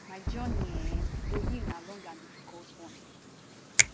my journey um to heal na long and difficult one